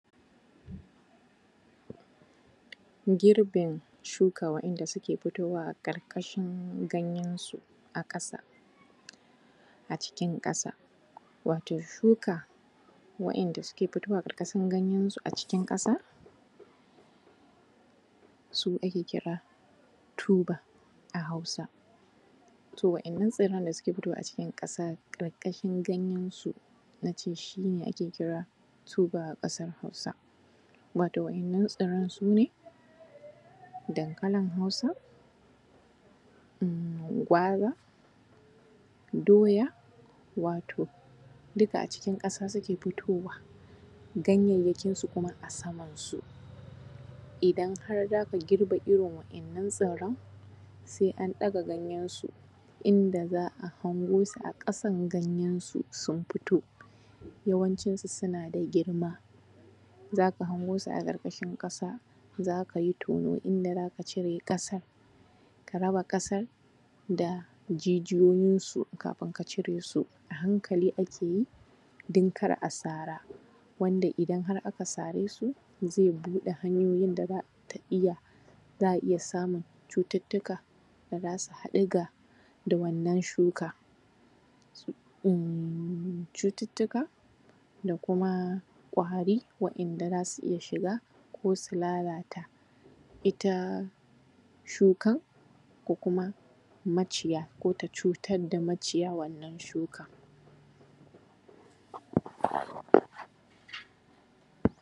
Girbin shuka waɗanda suke fitowa a ƙarƙashin ganyensu a ƙasa, a cikin ƙasa, wato shuka waɗanda suke fitowa a ƙarƙasshin ganyensu a ƙasa su ake kira tuba a Hausa. To waɗannan tsirran da suke fitowa a cikin ƙasa, ƙarƙashin ganyensu na ce shi ne ake kira tuba a ƙasar Hausa. Wato waɗannan tsirran su ne: dankalin Hausa, gwaza, doya, wato duka a cikin ƙasa suke fitowa, ganyayyakinsu kuma a samansu. Idan har za ka girbe irin waɗannan tsirran, sai an ɗaga ganyensu, inda za a hango su a ƙasan ganyensu sun fito. Yawancinsu suna da girma, za ka hango su a ƙarƙashin ƙasa, za ka yi tono inda za ka cire ƙasar, ka raba ƙasar da jijiyoyinsu kafin ka cire su. A hankali ake yi don kar a sara, wanda idan har aka sare su, zai buɗe hanyoyin da za ta iya, za a iya samun cututtuka da za su haɗu da wannan shuka, cututtuka da kuma ƙwari waɗanda za su iya shiga ko su lalata ita shukan ko kuma maciya, ko ta cutar da maciya wannan shukan.